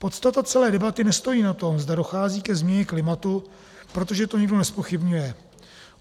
Podstata celé debaty nestojí na tom, zda dochází ke změně klimatu, protože to nikdo nezpochybňuje.